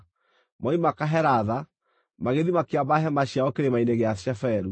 Moima Kahelatha, magĩthiĩ makĩamba hema ciao Kĩrĩma-inĩ gĩa Sheferu.